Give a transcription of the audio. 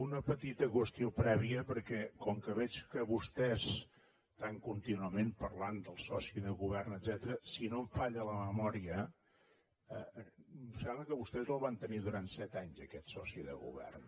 una petita qüestió prèvia perquè com que veig que vostès estan contínuament parlant del soci de govern etcètera si no em falla la memòria em sembla que vostès el van tenir durant set anys aquest soci de govern